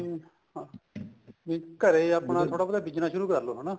ਹਾਂ ਵੀ ਘਰੇ ਆਪਣਾ ਥੋੜਾ ਬਹੁਤਾ business ਸ਼ੁਰੂ ਕਰਲੋ ਹਨਾ